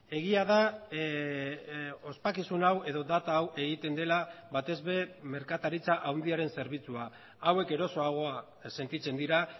egia da ospakizun hau edo data hau egiten dela batez ere merkataritza handiaren zerbitzua hauek erosoagoa sentitzen dira